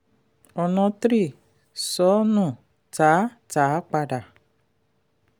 ọ̀nà three: sọ nù tà á tà á padà.